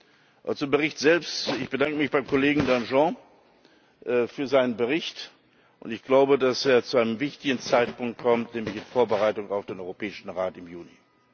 Und zum Bericht selbst Ich bedanke mich beim Kollegen Danjean für seinen Bericht, und ich glaube, dass er zu einem wichtigen Zeitpunkt kommt, nämlich in Vorbereitung auf den Europäischen Rat im Juni.